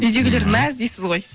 үйдегілер мәз дейсіз ғой